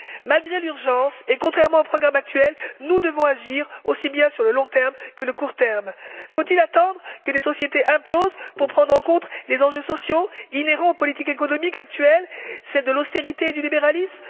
Malgré l'urgence et contrairement aux programmes actuels, nous devons agir aussi bien sur le long terme que sur le court terme. Faut il attendre que les sociétés implosent pour prendre en compte les enjeux sociaux, inhérents aux politiques économiques actuelles, celles de l'austérité et du libéralisme?